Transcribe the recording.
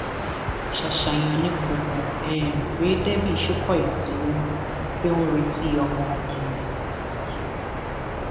ṣááṣá èèyàn ni kò mọ um pé debbie shokoya ti lóyún pé ó ń retí ọmọ um tuntun